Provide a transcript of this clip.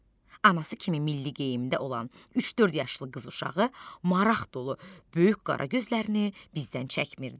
Anası kimi milli geyimdə olan üç-dörd yaşlı qız uşağı maraq dolu böyük qara gözlərini bizdən çəkmirdi.